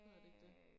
Hedder det ikke det?